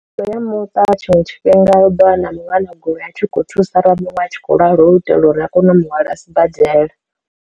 Ndo ya muṱa tshiṅwe tshifhinga u ḓo vha na muṅwe ana goloi a tshi khou thusa ra muṅwe a tshi khou lwala hu u itela uri a kone u muhwalela sibadela.